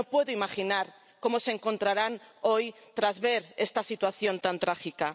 No puedo imaginar cómo se encontrarán hoy tras ver esta situación tan trágica.